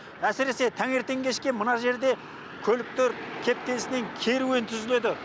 әсіресе таңертең кешке мына жерде көліктер кептелісінен керуен түзіледі